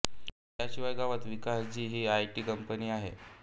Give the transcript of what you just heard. त्याशिवाय गावात विकासजी ही आय टी कंपनी आहे